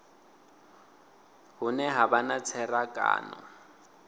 hune ha vha na tserakano